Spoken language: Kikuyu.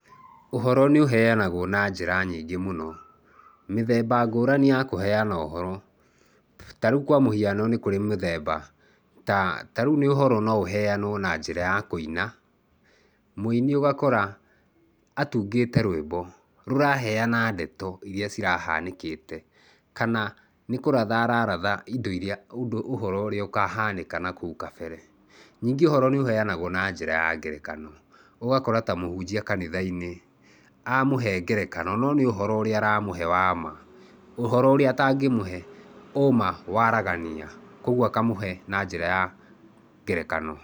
Ũhoro nĩ ũheanagwo na njĩra nyingĩ mũno. Mĩthemba ngũrani ya kũhana ũhoro. Ta rĩu kwa mũhiano nĩ kũrĩ mĩthemba ta, ta rĩu ũhoro no ũheanwo na njĩra ya kũina. Mũini ũgakora atungĩte rwĩmbo rũraheana ndeto iria cirahanĩkĩte kana nĩ kũratha araratha, indo iria, ũndũ, ũhoro ũrĩa ũkahanĩka na kũu kabere. Nĩngĩ ũhoro nĩ ũheanagwo na njĩra ya ngerekano. Ũgakora ta mũhunjia kanitha-inĩ, amũhe ngerekano, no nĩ ũhoro ũrĩa aramũhe wa ma, ũhoro ũrĩa atangĩmũhe ũma waragania, koguo akamũhe na njĩra ya ngerekano.